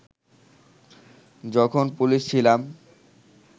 যখন পুলিশ ছিলাম